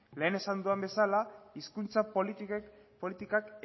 lehen esan dudan bezala hizkuntza politikak